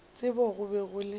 tsebo go be go le